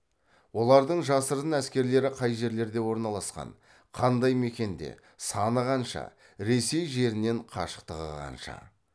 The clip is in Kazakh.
олардың жасырын әскерлері қай жерлерде орналасқан қандай мекенде саны қанша ресей жерінен қашықтығы қанша